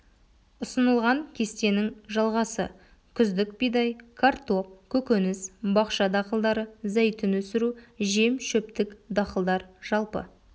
ұсынылған кестенің жалғасы күздік бидай картоп көкөніс бақша дақылдары зәйтүн өсіру жем шөптік дақылдар жалпы